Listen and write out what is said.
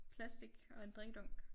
Plastic og en drikkedunk